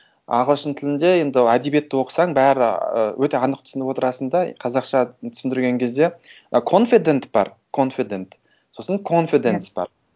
ағылшын тілінде енді әдебиетті оқысаң бәрі ы өте анық түсініп отырасың да қазақша түсіндірген кезде ы конфидент бар конфидент сосын конфиденс бар